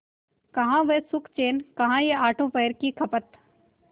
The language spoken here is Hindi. कहाँ वह सुखचैन कहाँ यह आठों पहर की खपत